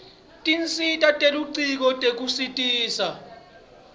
tinsita telucingo tekutisita